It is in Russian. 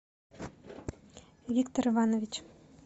виктор иванович